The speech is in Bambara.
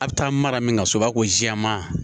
A bɛ taa mara min ka so b'a fɔ ko jɛman